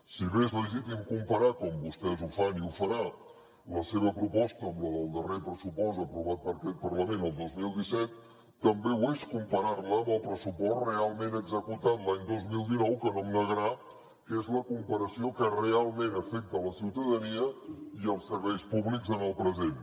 si bé és legítim comparar com vostès ho fan i ho farà la seva proposta amb la del darrer pressupost aprovat per aquest parlament el dos mil disset també ho és comparar la amb el pressupost realment executat l’any dos mil dinou que no em negarà que és la comparació que realment afecta la ciutadania i els serveis públics en el present